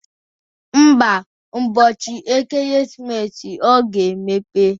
Ḿbà, ụbọchị ekeresimesi, ọ ga-emepe.